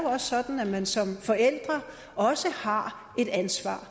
sådan at man som forælder også har et ansvar